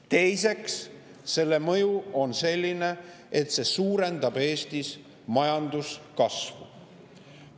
Teiseks, selle mõju on selline, et see suurendab Eestis majanduskasvu.